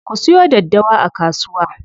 Ku siyo daddawa a kasuwa.